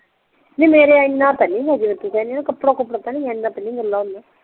ਨਹੀਂ ਮੇਰੇ ਇੰਨਾ ਤੇ ਨਹੀਂ ਸੀ ਜਿਵੇਂ ਤੂੰ ਕਿਹੰਦੀ ਆ ਕਪੜਾ ਕੁਪੜਾ ਇੰਨਾ ਤੇ ਨਹੀਂ ਗਿੱਲਾ ਹੁੰਦਾ